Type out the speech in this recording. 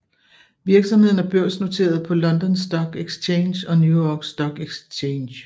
Virksomheden er børsnoteret på London Stock Exchange og New York Stock Exchange